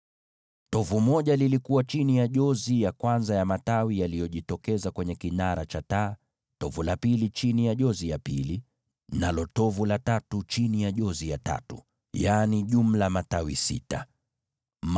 Tovu moja lilikuwa chini ya jozi ya kwanza ya matawi yaliyotokeza kwenye kinara cha taa, tovu la pili chini ya jozi ya pili, nalo tovu la tatu chini ya jozi ya tatu, yaani, matawi sita kwa jumla.